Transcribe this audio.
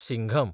Singham